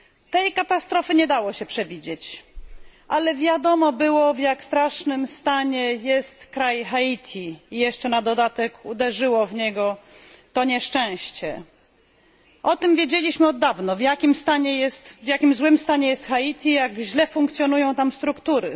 Tej katastrofy nie dało się przewidzieć, ale wiadomo było, w jak strasznym stanie jest Haiti, jeszcze na dodatek uderzyło w niego to nieszczęście. Wiedzieliśmy od dawna, w jak złym stanie jest Haiti, jak źle funkcjonują tam struktury.